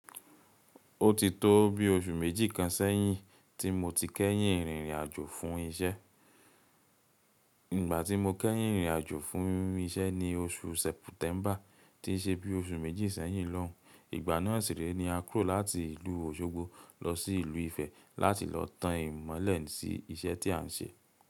Ó ti tó bi oṣù méjì kan sẹ́yìn tí mo ti kẹ́yìn rìnrìn àjò fún iṣẹ́. Ìgbà tí mo kẹ́yìn rìnrìn àjò fún iṣẹ́ ni oṣù September, tí ṣe bí oṣù méjì sẹ́yìn lóun. Ìgbà náà sìré ni a kúrò láti ìlú Òṣogbo lọ sí ìlú Ifẹ̀ láti lọ tan ìmọ̀lẹ̀ sí iṣẹ́ tí à ń ṣe.